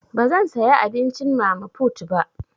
Bazan saya abincin mama put ba.